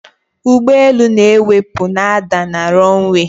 ụgbọelu na-ewepụ na ada na runway